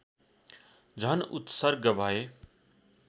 झन् उत्सर्ग भए